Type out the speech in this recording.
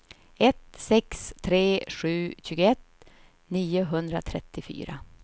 ett sex tre sju tjugoett niohundratrettiofyra